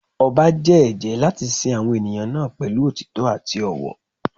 Ọba jẹ́ ẹ̀jẹ́ láti sin àwọn ènìyàn náà pẹ̀lú òtítọ́ àti ọ̀wọ̀.